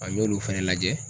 An y'olu fɛnɛ lajɛ.